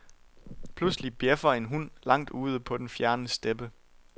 Pludselig bjæffer en hund langt ude på den fjerne steppe.